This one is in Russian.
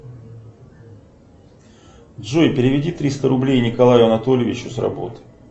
джой переведи триста рублей николаю анатольевичу с работы